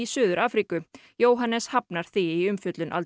Suður Afríku Jóhannes hafnar því í umfjöllun Al